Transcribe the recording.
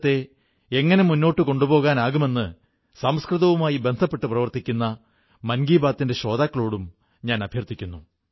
വിശേഷിച്ചും കുട്ടികൾക്ക് ഇക്കാര്യത്തിൽ വിശേഷാൽ ഉത്സാഹമുണ്ട് ഇപ്രാവശ്യം ആഘോഷത്തിന് പുതിയതായി എന്താണ് കിട്ടുക എന്നാണ് അവർ ആലോചിക്കുന്നത്